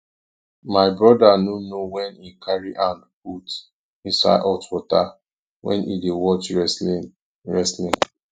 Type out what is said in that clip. my broda no know wen he carry hand put inside hot water wen he dey watch wrestling wrestling